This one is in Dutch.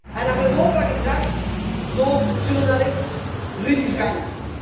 en naar Europa gebracht door journalist Rudi Vranckx.